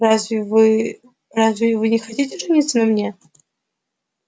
разве вы разве вы не хотите жениться на мне